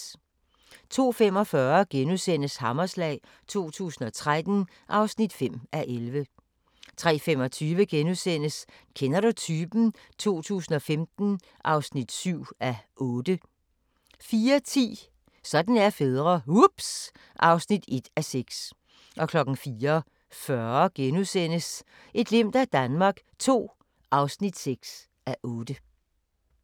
02:45: Hammerslag 2013 (5:11)* 03:25: Kender du typen? 2015 (7:8)* 04:10: Sådan er fædre - ups ... (1:6) 04:40: Et glimt af Danmark II (6:8)*